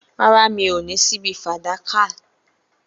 Rárá, mi ò ní ṣíbí fàdákà